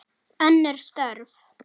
Önnur störf.